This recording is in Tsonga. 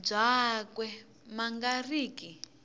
byakwe ma nga ri ki